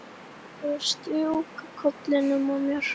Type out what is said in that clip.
Mig langar að strjúka kollinum á honum.